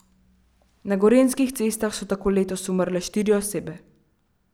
Na gorenjskih cestah so tako letos umrle štiri osebe.